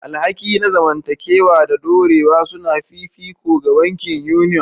Alhaki na zamantakewa da dorewa sune fifiko ga bankin Union.